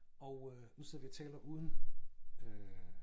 Og øh nu sidder vi og taler uden øh